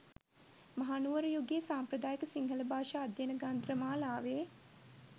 මහනුවර යුගයේ සාම්ප්‍රදායික සිංහල භාෂා අධ්‍යයන ග්‍රන්ථ මාලාවේ